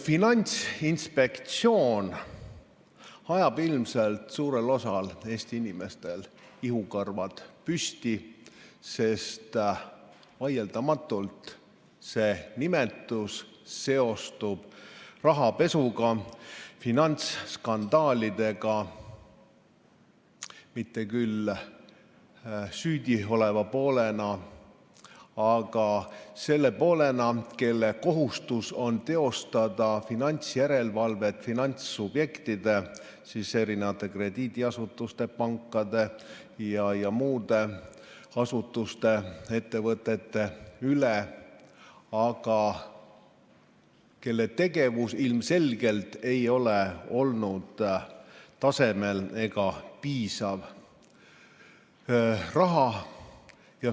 Finantsinspektsiooni nimetus ajab ilmselt suurel osal Eesti inimestel ihukarvad püsti, sest vaieldamatult seostub see rahapesu ja muude finantsskandaalidega, mitte küll süüdi oleva poolena, vaid selle poolena, kelle kohustus on teostada finantsjärelevalvet finantssubjektide, st krediidiasutuste, pankade ja muude asutuste-ettevõtete üle, aga kelle tegevus ilmselgelt ei ole olnud tasemel ega piisav.